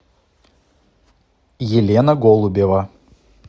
елена голубева